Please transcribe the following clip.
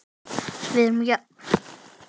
Við erum jöfn.